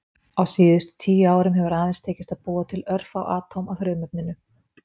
Á síðustu tíu árum hefur aðeins tekist að búa til örfá atóm af frumefninu.